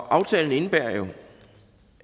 aftalen indebærer